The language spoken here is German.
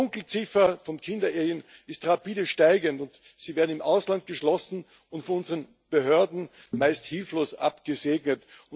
Die Dunkelziffer von Kinderehen ist rapide steigend Sie werden im Ausland geschlossen und von unseren Behörden meist hilflos abgesegnet.